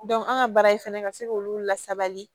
an ka baara in fɛnɛ ka se k'olu lasabali